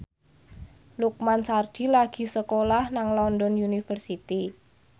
Lukman Sardi lagi sekolah nang London University